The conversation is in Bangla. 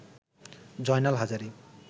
জয়নাল হাজারী